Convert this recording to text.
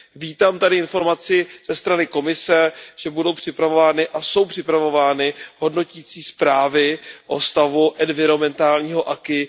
Vítám tady informaci ze strany Komise, že budou připravovány a jsou připravovány hodnotící zprávy o stavu environmentálního aquis.